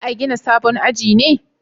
Za a gina sabon aji ne?